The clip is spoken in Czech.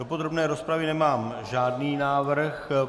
Do podrobné rozpravy nemám žádný návrh.